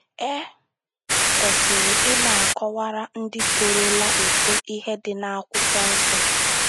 E kwesiri ị na - akọwara ndị torola eto ihe dị n’Akwụkwọ Nsọ